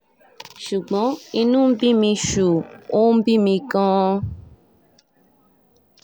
ṣùgbọ́n inú ń bí mi ṣùù ó ń bí mi gan-an